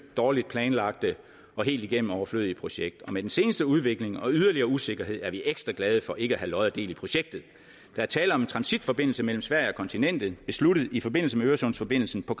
dårligt planlagte og helt igennem overflødige projekt og med den seneste udvikling og yderligere usikkerhed er vi ekstra glade for ikke at have lod og del i projektet der er tale om en transitforbindelse mellem sverige og kontinentet besluttet i forbindelse med øresundsforbindelsen på